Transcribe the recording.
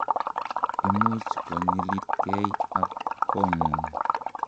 imuch konyilitgei ak kongung